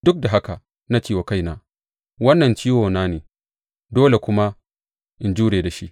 Duk da haka na ce wa kaina, Wannan ciwona ne, dole kuma in jure da shi.